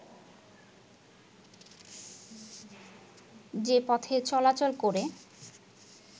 যে পথে চলাচল করে